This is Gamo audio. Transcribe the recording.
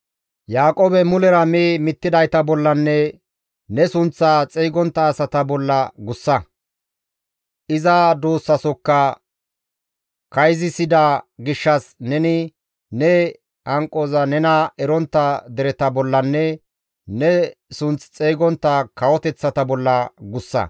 Yaaqoobe mulera mi mittidayta bollanne ne sunththaa xeygontta asata bolla guussa. Iza duussasokka kayzisida gishshas neni ne hanqoza nena erontta dereta bollanne ne sunth xeygontta kawoteththata bolla gussa.